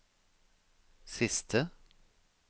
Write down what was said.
siste